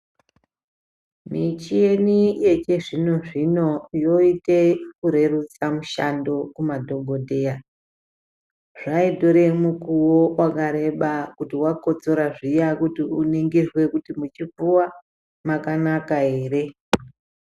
Michini yechizvino zvino yoite kurerutsa mishando yemadhokodheya. Zvaitore mukuwo wakareba kuti wakotsora zviya kuti uningirwe kuti muchipfuva mwakanaka ere